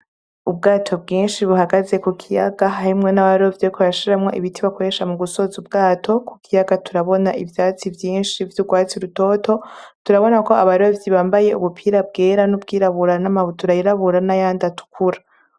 Ubwato bwinshi buhagaze ku kiyaga harimwo n'abarovyi bariko barashiramwo ibiti bakoresha mu gusoza ubwato, ku kiyaga turabona ivyatsi vyinshi vy'urwatsi rutoto, turabona ko abarovyi bambaye ubupira bwera n'ubwirabura n'amabutura yirabura n'ayandi atukura.